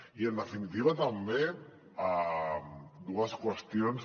i en definitiva també dues qüestions